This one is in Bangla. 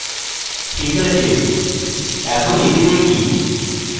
ok আছে এখন এটি দেখি